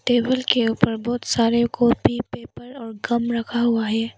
Table के ऊपर बहुत सारे कॉपी पेपर और गम रखा हुआ है।